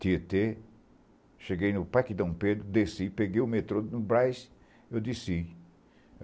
Tietê, cheguei no Parque Dom Pedro, desci, peguei o metrô no Brás , eu desci.